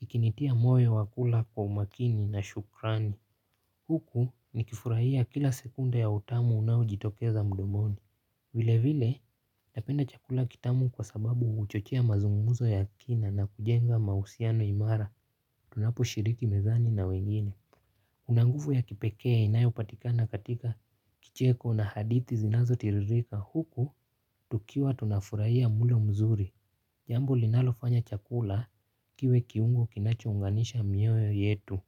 Ikinitia moyo wa kula kwa umakini na shukrani huku nikifurahia kila sekunde ya utamu unaojitokeza mdomoni. Vile vile napenda chakula kitamu kwa sababu huchochea mazungumzo ya kina na kujenga mahusiano imara. Tunapo shiriki mezani na wengine kuna nguvu ya kipekee inayo patikana katika kicheko na hadithi zinazo tiririka huku, tukiwa tunafurahia mlo mzuri. Jambo linalofanya chakula kiwe kiungo kinachounganisha mioyo yetu.